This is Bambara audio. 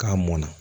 K'a mɔnna